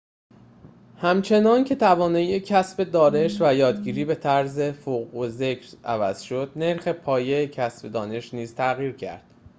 همچنان‌که توانایی کسب دانش و یادگیری به طرز فوق‌الذکر عوض شد نرخ پایه کسب دانش نیز تغییر کرد